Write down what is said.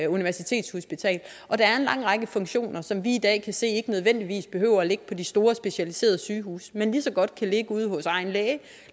universitetshospital der er en lang række funktioner som vi i dag kan se ikke nødvendigvis behøver at ligge på de store specialiserede sygehuse men ligeså godt kan ligge ude hos egen læge